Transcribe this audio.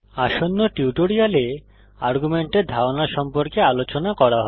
আসন্ন টিউটোরিয়ালে আর্গুমেন্টের ধারণা সম্পর্কে আলোচনা করা হবে